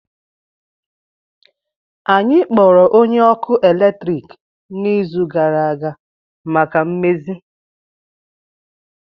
Anyị kpọrọ onye ọkụ eletrik n'izu gara aga maka mmezi